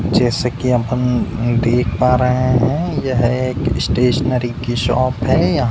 जैसा कि आप देख पा रहे हैं। यह एक स्टेशनरी की शॉप है। यहां --